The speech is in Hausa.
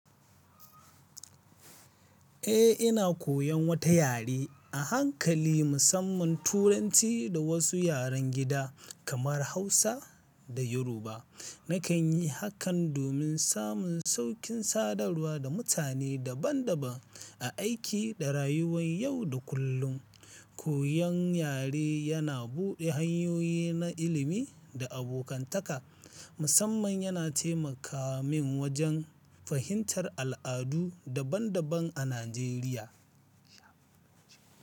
Eh, ina koyan wata yare a hankali, musamman Turanci da wasu yaren gida kamar Hausa da Yoruba. Nakan yi hakan domin samun saukin sadarwa da mutane daban-daban a aiki da rayuwan yau da kullum. Koyon yare yana buɗe hanyoyi na ilimi da abokantaka, musamman yana taimaka min wajen fahimtar al'adu daban-daban a Najeriya.